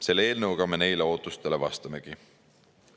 Selle eelnõuga me neile ootustele vastamegi.